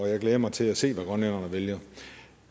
jeg glæder mig til at se hvad grønlænderne vælger